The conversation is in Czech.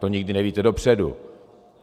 To nikdy nevíte dopředu.